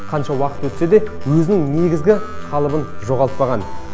қанша уақыт өтсе де өзінің негізгі қалыбын жоғалтпаған